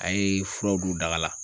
A ye furaw don daga la